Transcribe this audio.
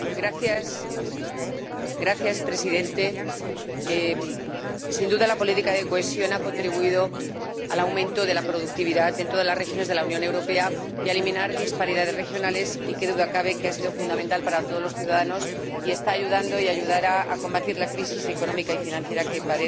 Señor Presidente, sin duda, la política de cohesión ha contribuído al aumento de la productividad en todas las regiones de la Unión Europea y a eliminar disparidades regionales y, qué duda cabe, ha sido fundamental para todos los ciudadanos y está ayudando y ayudará a combatir la crisis económica y financiera que padece